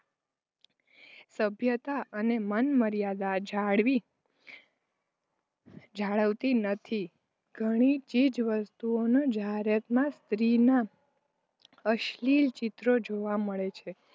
સભ્યતા અને માનમર્યાદા જાળવી જાળવતી નથી. ઘણી ચીજવસ્તુઓની જાહેરાતોમાં સ્ત્રીઓનાં અશ્લીલ ચિત્રો જોવા મળે છે.